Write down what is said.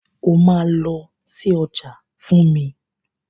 O máa lọ sí ọjà fún mi.